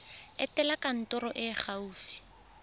etela kantoro e e gaufi